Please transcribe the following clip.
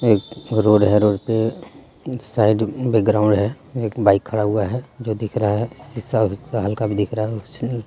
एक रोड़ है रोड पे साइड बैकग्राउंड हे एक बाइक खड़ा हुआ है जो दिख रहा है शिसा हल्का भी दिख रहा है.